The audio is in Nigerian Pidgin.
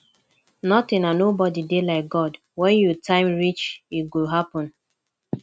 nothing and nobody dey like god wen your time reach e go happen